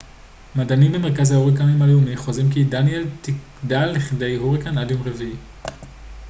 מדענים במרכז ההוריקנים הלאומי חוזים כי דניאל תגדל לכדי הוריקן עד יום רביעי